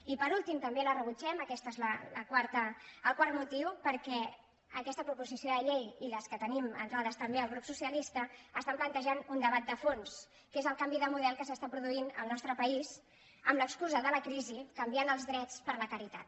i per últim també la rebutgem aquest és el quart motiu perquè aquesta proposició de llei i les que tenim entrades també el grup socialista plantegen un debat de fons que és el canvi de model que s’està produint al nostre país amb l’excusa de la crisi canviant els drets per la caritat